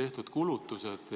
tehtud kulutused?